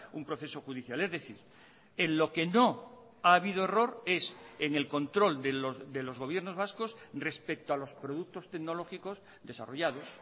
un proceso judicial es decir en lo que no ha habido error es en el control de los gobiernos vascos respecto a los productos tecnológicos desarrollados